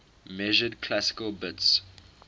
measured classical bits